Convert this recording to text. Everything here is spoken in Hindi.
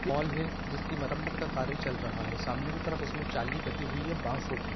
हॉल है जिसकी मरम्मत का काम चल रहा है सामने कि तरफ इसमें जाली बंधी हुई है बाँसों की